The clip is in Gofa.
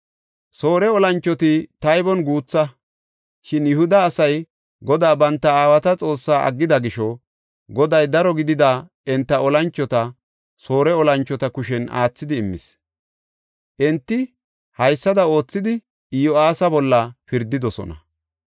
Soore olanchoti taybon guutha; shin Yihuda asay Godaa banta aawata Xoossaa aggida gisho, Goday daro gidida enta olanchota Soore olanchota kushen aathidi immis. Enti haysada oothidi Iyo7aasa bolla pirdidosona.